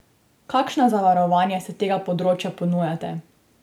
Kakšna zavarovanja s tega področja ponujate?